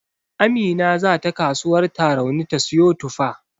Amina zata kasuwar Tarauni ta siyo tufa.